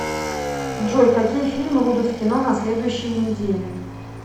джой какие фильмы будут в кино на следующеи неделе